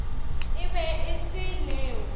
e be e se leo